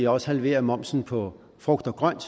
også halvere momsen på frugt og grønt